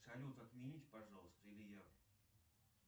салют отмените пожалуйста или я